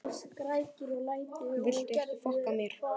Veifuðum brosandi þegar bílarnir sigu af stað.